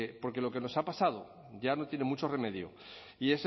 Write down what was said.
porque lo que nos ha pasado ya no tiene mucho remedio y